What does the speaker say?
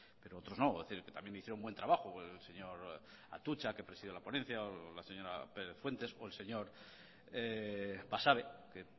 pero otros no es decir que también hicieron un buen trabajo el señor atutxa que presidió la ponencia o la señora pérez fuentes o el señor basabe que